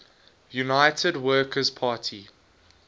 united workers party